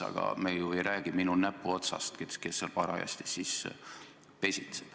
Aga me ju ei räägi minu näpuotsast, sellest, kes seal parajasti pesitseb.